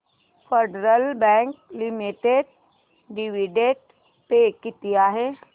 federal Bank Limited dividend pay किती आहे